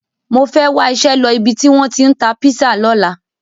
Mo fẹ́ wá iṣẹ́ lọ ibi tí wọ́n tí ń ta písà lọ́la.